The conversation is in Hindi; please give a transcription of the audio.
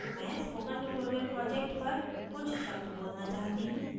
मैं spoken tutorial project पर कुछ शब्द बोलना चाहती हूँ